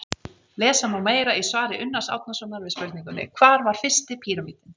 Lesa má meira í svari Unnars Árnasonar við spurningunni Hvar var fyrsti píramídinn?